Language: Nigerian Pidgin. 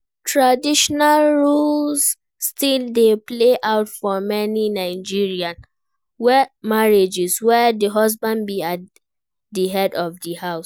traditional roles still dey play out for many Nigerian marrriages where di husband be as di head of di house.